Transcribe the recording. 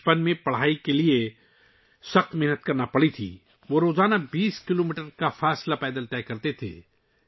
بچپن میں ، انہیں پڑھائی کے لیے بہت محنت کرنی پڑتی تھی، وہ روزانہ 20 کلومیٹر کا فاصلہ پیدل طے کرتے تھے